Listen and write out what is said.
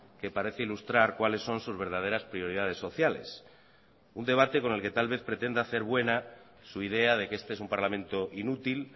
que parece ilustrar cuáles son sus verdaderas prioridades sociales un debate con el que tal vez pretende hacer buena su idea de que este es un parlamento inútil